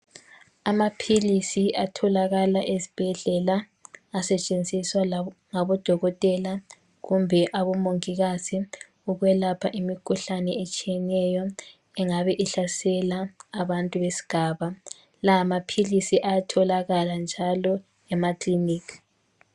Amaphilisi atholakala esibhedlela asetshenziswa ngabo dokotela kumbe abomongikazi ukwelapha imikhuhlane etshiyeneyo, engabe ihlasela abantu besigaba, lamaphilisi ayatholakala njalo emakiliniki.